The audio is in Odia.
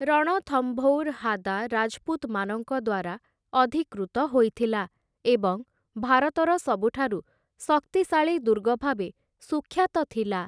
ରଣଥମ୍ଭୌର୍‌ ହାଦା ରାଜ୍‌ପୁତ୍‌ମାନଙ୍କ ଦ୍ୱାରା ଅଧିକୃତ ହୋଇଥିଲା ଏବଂ ଭାରତର ସବୁଠାରୁ ଶକ୍ତିଶାଳୀ ଦୁର୍ଗ ଭାବେ ସୁଖ୍ୟାତ ଥିଲା ।